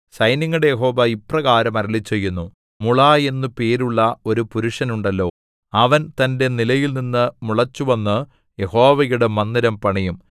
സൈന്യങ്ങളുടെ യഹോവ ഇപ്രകാരം അരുളിച്ചെയ്യുന്നു മുള എന്നു പേരുള്ള ഒരു പുരുഷനുണ്ടല്ലോ അവൻ തന്റെ നിലയിൽനിന്നു മുളച്ചുവന്നു യഹോവയുടെ മന്ദിരം പണിയും